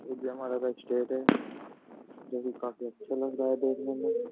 ये का स्टेज है जो कि काफी अच्छा लग रहा है देखने में।